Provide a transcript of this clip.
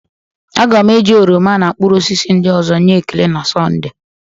Aga m eji oroma na mkpụrụ osisi ndị ọzọ nye Ekele na Sọnde